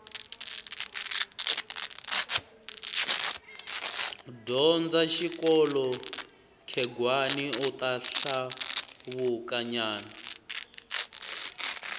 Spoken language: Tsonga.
dyondza xikolo khegwani uta hluvuka nyana